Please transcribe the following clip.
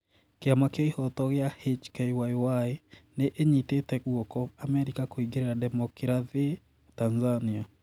kĩama kĩa ihoto gĩa HKYY nĩ ĩnyitete guoko Amerika kũingĩrĩra ndemookirathĩ Tanzania.